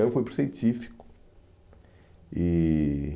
Aí eu fui para o Científico E